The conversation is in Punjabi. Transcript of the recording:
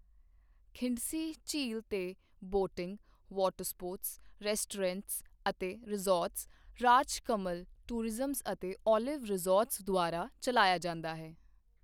ਖਿੰਡਸੀ ਝੀਲ ਤੇ ਬੋਟਿੰਗ, ਵਾਟਰਸਪੋਰਟਸ, ਰੈਸਟੋਰੈਂਟ ਅਤੇ ਰਿਜ਼ੌਰਟ, ਰਾਜਕਮਲ ਟੂਰਿਜ਼ਮ ਅਤੇ ਓਲਿਵ ਰਿਜ਼ੌਰਟਸ ਦੁਵਾਰਾ ਚਲਾਇਆ ਜਾਂਦਾ ਹੈ।